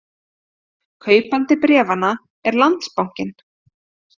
Kaupandi bréfanna er Landsbankinn